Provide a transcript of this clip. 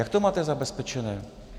Jak to máte zabezpečené?